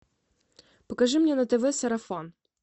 покажи мне на тв сарафан